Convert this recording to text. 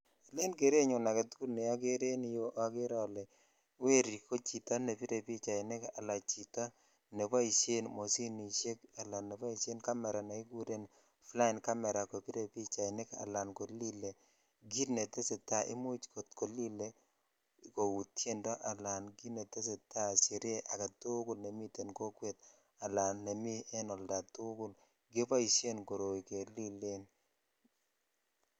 Ele gerenyun aketukul ne okere en yuu okere ole weri ko chito ne pire pichainik ala neboishen moshinishek ala neboishen camera nekiguren flying camera kopire bichainik ala kolile kit netesetai imuch kot kolile kou tyendo alan kit netesetai sherehe aketukul nemiten kokwet ala nemi en oldatukul keboishen koroi kelilen .